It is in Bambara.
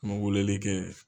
an mɛ weleli kɛ.